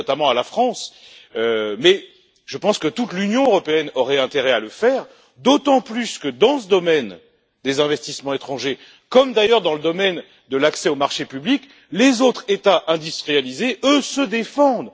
Je pense notamment à la France, mais je suis d'avis que toute l'Union européenne aurait intérêt à le faire, d'autant plus que, dans ce domaine des investissements étrangers, comme d'ailleurs dans le domaine de l'accès aux marchés publics, les autres États industrialisés, eux, se défendent.